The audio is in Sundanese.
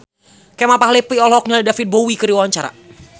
Kemal Palevi olohok ningali David Bowie keur diwawancara